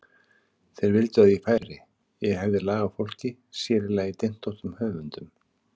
Þeir vildu að ég færi, ég hefði lag á fólki, sér í lagi dyntóttum höfundum.